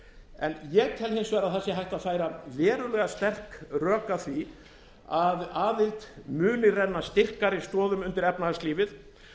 en ég tel hins vegar að hægt að færa verulega sterk rök að því að aðild muni renna styrkari stoðum undir efnahagslífið